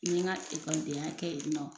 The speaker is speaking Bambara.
N ye n ka ekɔlidenya kɛ ye nɔ.